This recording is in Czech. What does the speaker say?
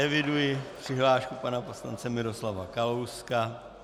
Eviduji přihlášku pana poslance Miroslava Kalouska.